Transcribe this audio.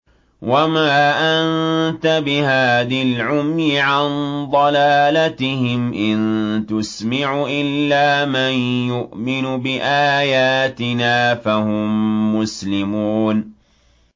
وَمَا أَنتَ بِهَادِ الْعُمْيِ عَن ضَلَالَتِهِمْ ۖ إِن تُسْمِعُ إِلَّا مَن يُؤْمِنُ بِآيَاتِنَا فَهُم مُّسْلِمُونَ